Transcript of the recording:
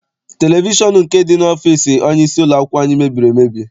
Televishọn nke dị n'ime ọfịịsi onyeisi ụlọakwụkwọ anyị mebiri emebi.